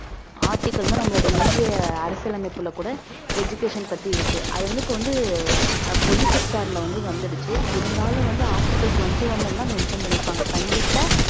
article னா நம்மளோட இந்திய அரசியலமைப்புல கூட education பத்தி இருக்கு அது வந்து இப்ப வந்து பொது sector ல வந்து வந்துடுச்சு இருந்தாலும் வந்து article twenty one ல எல்லாம் mention பண்ணியிருப்பாங்க கண்டிப்பா